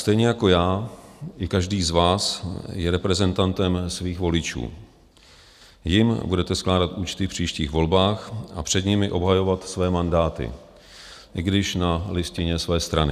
Stejně jako já i každý z vás je reprezentantem svých voličů, jim budete skládat účty v příštích volbách a před nimi obhajovat své mandáty, i když na listině své strany.